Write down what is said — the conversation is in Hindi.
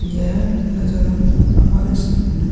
यह नजारा हमारे सामने --